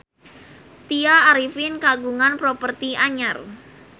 Tya Arifin kagungan properti anyar